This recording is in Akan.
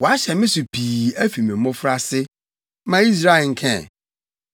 “Wɔahyɛ me so pii afi me mmofraase, ma Israel nka ɛ.